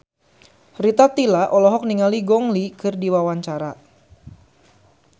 Rita Tila olohok ningali Gong Li keur diwawancara